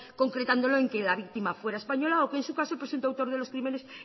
concretándolo en que la víctima fuera española o que en su caso presentó autor de los crímenes